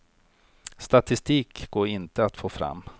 Statistik går inte att få fram.